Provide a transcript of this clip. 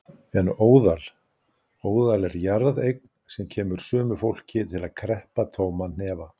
En óðal. óðal er jarðeign sem kemur sumu fólki til að kreppa tóman hnefa.